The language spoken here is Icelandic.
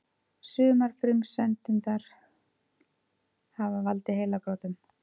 Sumar frumsendurnar hafa valdið heilabrotum.